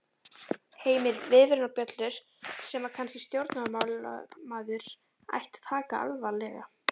Heimir: Viðvörunarbjöllur sem að kannski stjórnmálamaður ætti að taka alvarlega?